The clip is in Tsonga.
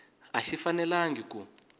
a xi fanelangi ku